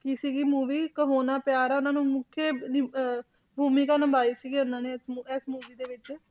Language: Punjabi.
ਕੀ ਸੀਗੀ movie ਕਹੋ ਨਾ ਪਿਆਰ ਹੈ ਉਹਨਾਂ ਨੂੰ ਮੁੱਖ ਦੀ ਅਹ ਭੂਮਿਕਾ ਨਿਭਾਈ ਸੀਗੀ ਇਹਨਾਂ ਨੇ ਇਸ ਮੂ~ ਇਸ movie ਦੇ ਵਿੱਚ।